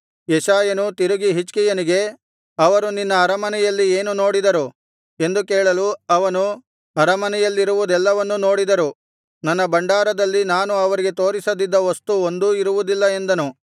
ಯೆಶಾಯನು ತಿರುಗಿ ಹಿಜ್ಕೀಯನಿಗೆ ಅವರು ನಿನ್ನ ಅರಮನೆಯಲ್ಲಿ ಏನು ನೋಡಿದರು ಎಂದು ಕೇಳಲು ಅವನು ಅರಮನೆಯಲ್ಲಿರುವುದೆಲ್ಲವನ್ನೂ ನೋಡಿದರು ನನ್ನ ಭಂಡಾರದಲ್ಲಿ ನಾನು ಅವರಿಗೆ ತೋರಿಸದಿದ್ದ ವಸ್ತು ಒಂದೂ ಇರುವುದಿಲ್ಲ ಎಂದನು